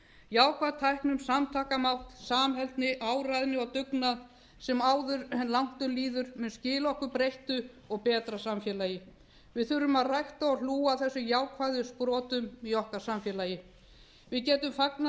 jákvæð teikn um samtakamátt samheldni áræðni og dugnað sem áður en langt um líður munu skila okkur breyttu og betra samfélagi við þurfum að rækta og hlúa að þessum jákvæðu sprotum í samfélagi okkar við getum fagnað